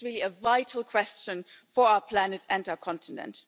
This is really a vital question for our planet and our continent.